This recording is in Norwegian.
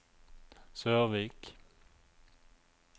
Sørvik